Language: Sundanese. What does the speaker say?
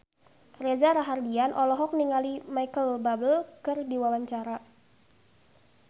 Reza Rahardian olohok ningali Micheal Bubble keur diwawancara